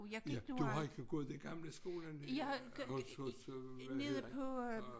Ja du har ikke gået i gamle skolerne hos hos øh hvad hedder han